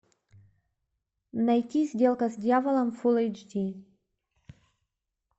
найти сделка с дьяволом фулл эйч ди